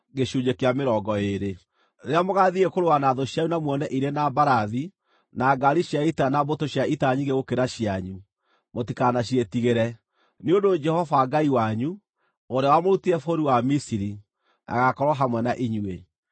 Rĩrĩa mũgaathiĩ kũrũa na thũ cianyu na muone irĩ na mbarathi na ngaari cia ita na mbũtũ cia ita nyingĩ gũkĩra cianyu, mũtikanaciĩtigĩre, nĩ ũndũ Jehova Ngai wanyu, ũrĩa wamũrutire bũrũri wa Misiri, agaakorwo hamwe na inyuĩ.